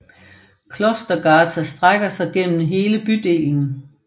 Klostergata strækker sig gennem hele bydelen